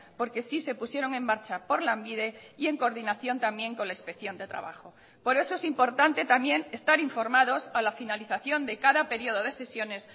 porque sí se pusieron en marcha por lanbide y en coordinación también con la inspección de trabajo por eso es importante también estar informados a la finalización de cada periodo de sesiones